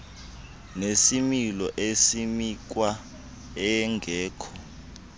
nesimilo esimikhwa engekho